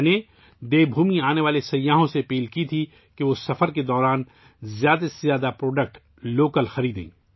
میں نے دیو بھومی آنے والے سیاحوں سے اپیل کی تھی کہ وہ اپنے دورے کے دوران زیادہ سے زیادہ مقامی مصنوعات خریدیں